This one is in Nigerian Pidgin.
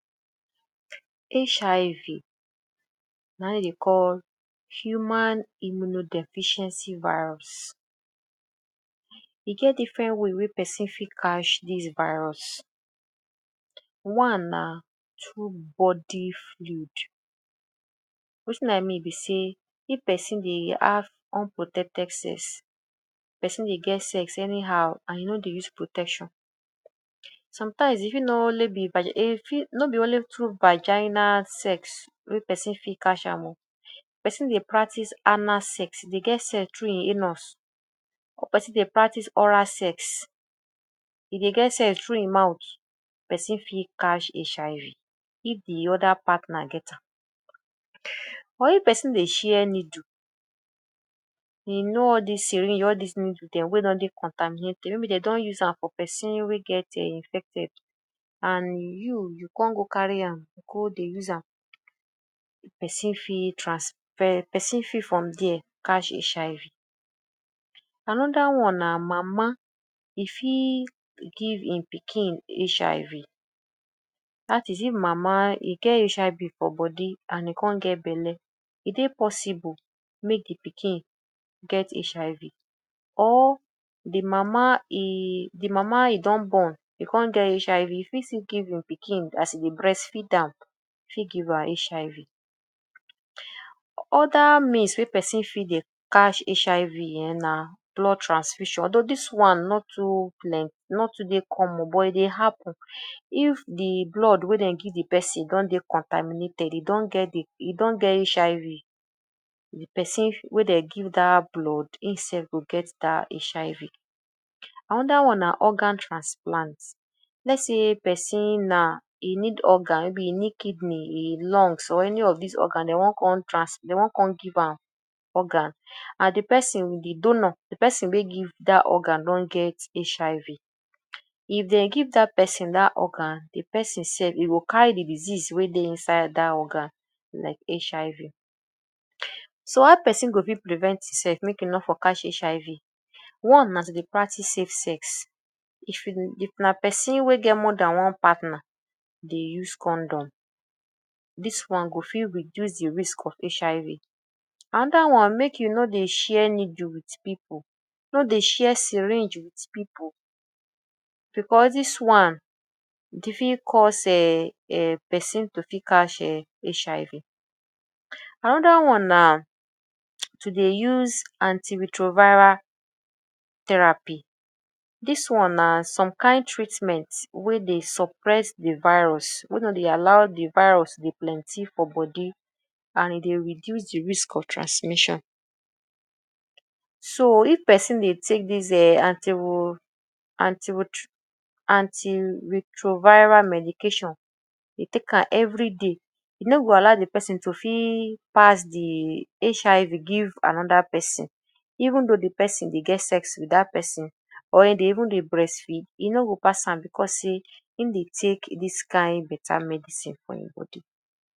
HIV na im dey dey call Human Immuno Deficiency Virus. E get different way wey person fit catch dis virus, one na through body fluid. Wetin I mean be sey if person dey have unprotected sex, person dey get sex anyhow and you no dey use protection. Sometimes if e no only be by? no be only through vagina sex wey person fit catch am oo, person dey practice anal sex dey get sex through e anus or person dey practice oral sex; e dey get sex through e mouth, person fit catch HIV if de other partner get am. Or if person dey share needle, you know all dis syringe all dis needle dem wey don dey contaminated maybe dey don use am for person wey get um infected and you you come go carry go dey use am, person fit trans? person fit from there catch HIV. Another one na mama, e fit give im pikin HIV; dat is if mama im get HIV for body and e come get belle, e dey possible make de pikin get HIV or de mama e de mama e don born, e come get HIV, e fit still give im pikin as e dey breastfeed, am e fit give am HIV. Other means wey person fit dey catch HIV na blood transfusion, although dis one no too plenty no too dey common but e dey happen if de blood wey dey give de person don dey contaminated, e don get de, e don get HIV de person wey dey give dat blood im sef go get dat HIV. Another one na organ transplant, lets sey person na, e need organ maybe e need kidney, e lungs or any of dis organ e wan come trans dey wan come give am organ and de person de donor de person wey give dat organ don get HIV. If dey give dat person dat organ, de person sef e go carry de disease wey dey inside dat organ like HIV. So how person go fit prevent im self make e no for catch HIV? One na to dey practice safe sex. If you? na person wey get more than one partner dey use condom. Dis one go fit reduce de risk of HIV. Another one, make you no dey share needle wit pipu, no dey share syringe wit pipu because dis one e fit cause um person to fit catch um HIV. Another one na to dey use anti retroviral therapy, dis one na some kain treatment wey dey suppress de virus wey no dey allow de virus to dey plenty for body and e dey reduce de risk of transmission. So if person dey take dis um? anti retroviral medication dey take am everyday, e no go allow de person to fit pass de HIV give another person even though de person dey get sex wit dat person or e dey even dey breastfeed, e no go pass am because sey im dey take dis kain better medicine for im body.